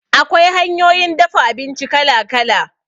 Akwai hanyoyin dafa abinci kala-kala.